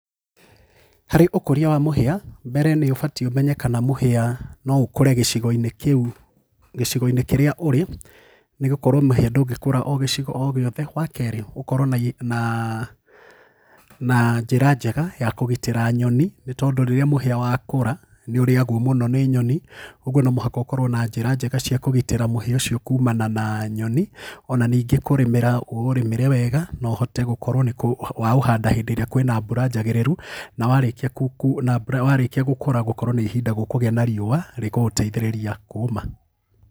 Harĩ ũkũria wa mũhĩa, mbere nĩ ũbatie ũmenye kana mũhĩa no ũkũre gĩcigo-inĩ kĩu, gĩcigo-inĩ kĩrĩa ũrĩ, nĩ gũkorũo mũhia ndũngĩkũra o gĩcigo o gĩothe. Wa kerĩ, gũkorũo na, na njĩra njega ya kũgitĩra nyoni nĩ tondũ rĩrĩa mũhĩa wakũra nĩ ũrĩagwo mũno nĩ nyoni, kwoguo no mũhaka ũkorũo na njĩra njega cia kũgitĩra mũhĩa ũcio kũũmana na nyoni,o na ningĩ kũrĩmĩra ũũrĩmĩre wega na ũhote gũkorũo nĩ waũhanda hĩndĩ ĩrĩa kwĩ na mbura njagĩrĩru, na warĩkia na mbura, warĩkia gũkũra gũkorwo na ihinda gũkũgĩa na riũwa rĩkũgũteithĩrĩria kũũma.